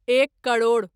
एक करोड़